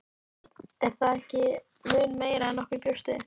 Björn: Er það ekki mun meira en nokkur bjóst við?